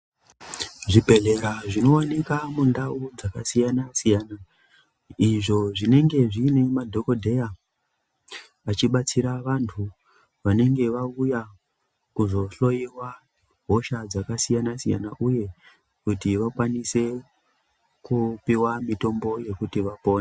Zvibhedhlera zvinowanikwa mundau dzakasiyana-siyana, izvo zvinenge zviine madhokodheya vachibatsia vantu vanenge vauya kuzohloiwa hosha dzakasiyana-siyana, uye kuti vakwanise kupiwa mitombo yekuti vapone.